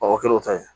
Mɔgɔ kelen o ta ye